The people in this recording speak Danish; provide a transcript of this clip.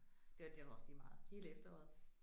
Det det er nu også lige meget hele efteråret